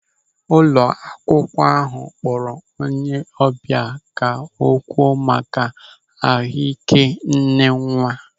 Ụlọ akwụkwọ ahụ kpọrọ onye ọbịa ka ọ kwuo maka ahụị́ké nnenwa.